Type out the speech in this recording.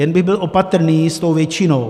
Jen bych byl opatrný s tou většinou.